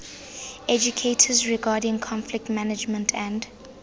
educators regarding conflict management and